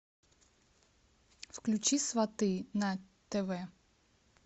включи сваты на тв